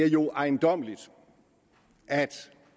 jo er ejendommeligt at